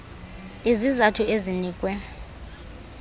iz izathu ezinikwe